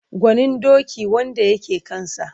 Gwanin doki wanda ya ke kansa.